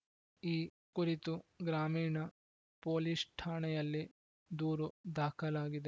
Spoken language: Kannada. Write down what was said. ಈ ಕುರಿತು ಗ್ರಾಮೀಣ ಪೊಲೀಸ್‌ ಠಾಣೆಯಲ್ಲಿ ದೂರು ದಾಖಲಾಗಿದೆ